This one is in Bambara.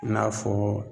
I n'a fɔ